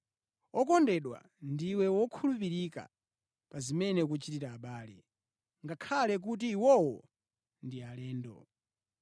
Wokondedwa, ndiwe wokhulupirika pa zimene ukuchitira abale, ngakhale kuti iwowo ndi alendo.